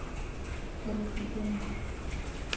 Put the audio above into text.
poresidente